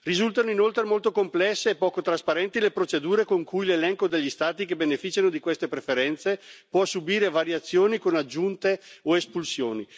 Risultano inoltre molto complesse e poco trasparenti le procedure con cui l'elenco degli Stati che beneficiano di queste preferenze può subire variazioni, con aggiunte o espulsioni.